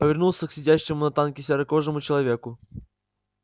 повернулся к сидящему на танке серокожему человеку